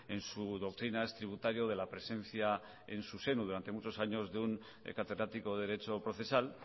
en su doctrina es tributario de la presencia en su seno durante muchos años de un catedrático de derecho procesal